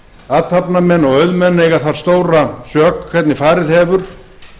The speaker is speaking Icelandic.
athafnamenn og auðmenn eiga þar stóra sök hvernig farið hefur